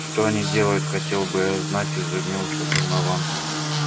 что они делают хотел бы я знать изумился донован